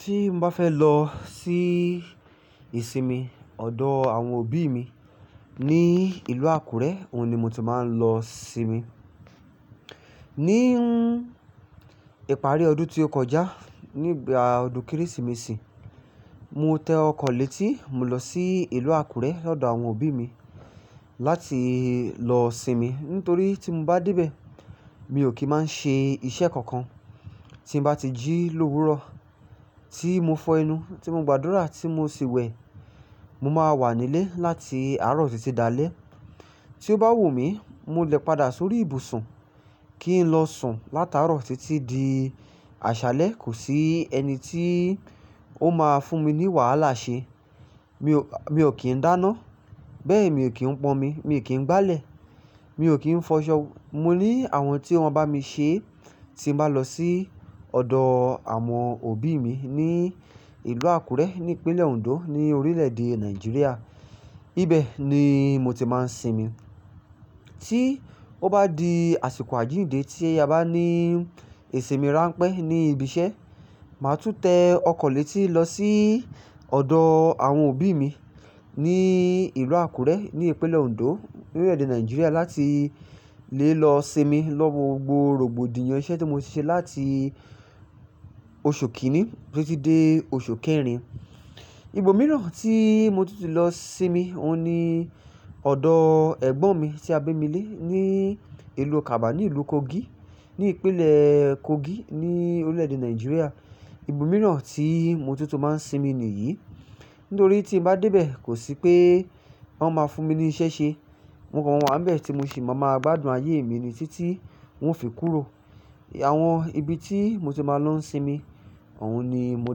Tí n bá fẹ́ lọ sí ìsinmi ọ̀dọ̀ àwọn òbí mi ní ìlú Àkúrẹ́, òun ni mo ti máa ń lọ sinmi. Ní ìparí ọdún tí ó kọjá nígbà ọdún Kérésìmesì, mo tẹ ọkọ̀ létí, mo lọ sí ìlú Àkúrẹ́ lọ́dọ̀ àwọn òbí mi láti lọ sinmi. Nítorí tí m bá dé bẹ́ẹ̀, mi ò kí máa n ṣe iṣẹ́ kankan. Tí n bá ti jí lówurọ̀, tí mo fọ ẹnu, tí mo gbàdúrà tí mo sì wẹ, mo máa wà nílé láti àárọ̀ títí dá alẹ́. Tí ó bá wù mí, mo lè padà sórí ibùsùn kí n lọ sùn látaarọ̀ títí di àṣálẹ́. Kò sí ẹni tí ó máa fún mi ní wàhálà ṣe. Mi ò kì ń dáná, bẹ́ẹ̀ mi ò kí ń pọ́n mi, mi ò kí ń gbálẹ̀, mi ò kí ń fọṣọ. Mo ní àwọn tí wọ́n bá mi ṣe tí n bá lọ sí ọ̀dọ̀ àwọn òbí mi ní ìlú Àkúrẹ́ ní ìpínlẹ̀ Òǹdó ní orílẹ̀-èdè Nàìjíríà. Ibẹ̀ ni mo ti máa ń sinmi. Tí ó bá di àsìkò àjíǹde tí a bá ní ìsinmi ránpẹ́ ní ibi iṣẹ́, màá tún tẹ ọkọ̀ létí lọ sí ọ̀dọ̀ àwọn òbí mi ní ìlú Àkúrẹ́ ní ìpínlẹ̀ Òǹdó ní orílẹ̀-èdè Nàìjíríà láti lè lọ sinmi lọ́wo gbobo rògbodìyàn iṣẹ́ tí mo ti ṣe láti oṣù kìíní títí dé oṣù kẹrin. Ibo mìíràn tí mo tí ti lọ sinmi, òun ni ọ̀dọ̀ ẹ̀gbọ́n mi tí a bí mi lé ní ìlú Ọ̀kàbà ní ìlú Kogi ní ìpínlẹ̀ Kogi ní orílẹ̀-èdè Nàìjíríà. Ibo mìíràn tí mo tó tó máa ń sinmi ni yìí. Nítorí tí mo bá dé bẹ́ẹ̀, kò sí pé wọ́n máa fún mi ní iṣẹ́ ṣe. Mo kàn wà níbẹ̀ tí mo sì ma gbádùn ayé mi títí nwo fi kúrò àwọn ibi tí mo ti máa ń lọ sinmi òun ni mo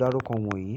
dárúkọ wọn yí.